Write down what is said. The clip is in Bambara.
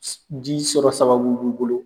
Ji sɔrɔ sababu b'u bolo